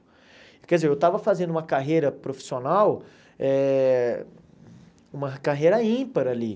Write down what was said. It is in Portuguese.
Quer dizer, eu estava fazendo uma carreira profissional, eh uma carreira ímpar ali.